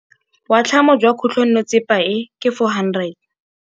Boatlhamô jwa khutlonnetsepa e, ke 400.